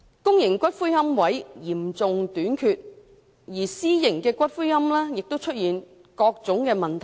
現時公營龕位嚴重短缺，私營龕位亦出現種種問題。